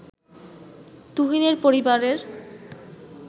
তুহিনের পরিবারের